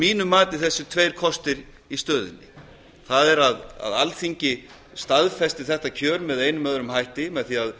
mínu mati þessir tveir kostir í stöðunni það er að alþingi staðfesti þetta kjör með einum eða öðrum hætti með því að